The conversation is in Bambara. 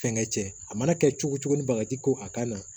Fɛnkɛ cɛ a mana kɛ cogo cogo ni bagaji ko a ka na